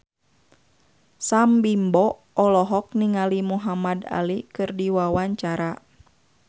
Sam Bimbo olohok ningali Muhamad Ali keur diwawancara